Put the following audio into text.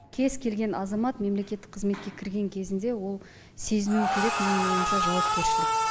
кез келген азамат мемлекеттік қызметке кірген кезінде ол сезіну керек менің ойымша жауапкершілік